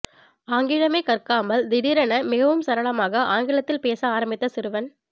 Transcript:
ஆங்கிலமே கற்காமல் திடீரென மிகவும் சரளமாக ஆங்கிலத்தில் பேச ஆரம்பித்த சிறுவன்